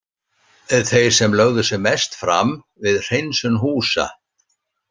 Þeir sem lögðu sig mest fram við hreinsun húsa.